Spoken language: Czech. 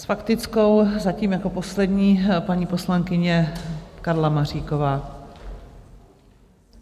S faktickou zatím jako poslední paní poslankyně Karla Maříková.